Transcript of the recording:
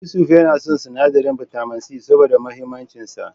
Yusuf yana son sinadarin bitamin C, saboda muhimmancin sa.